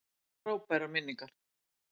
Ég á frábærar minningar.